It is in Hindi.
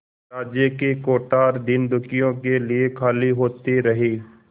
राज्य के कोठार दीनदुखियों के लिए खाली होते रहे